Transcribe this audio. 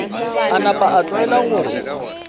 a napa a tlwaela gore